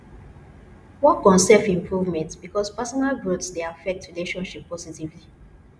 work on self improvement because personal growth dey affect relationship positively